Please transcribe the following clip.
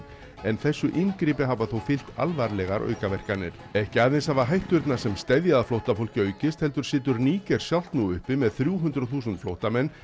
en þessu inngripi hafa þó fylgt alvarlegar aukaverkanir ekki aðeins hafa hætturnar sem steðja að flóttafólki aukist heldur situr Níger sjálft nú uppi með þrjú hundruð þúsund fllóttamenn